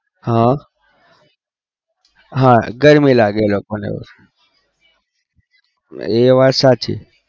હા હા ગરમી લાગે એ લોકોને એ વાત સાચી.